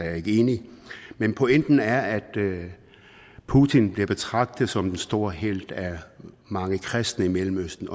jeg ikke enig men pointen er at putin bliver betragtet som en stor helt af mange kristne i mellemøsten